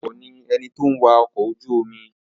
Atukọ̀ ni ẹni tó ń wa ọkọ̀ ojú-omi